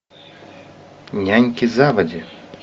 няньки заводи